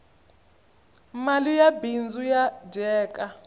mali ya bindzu ya dyeka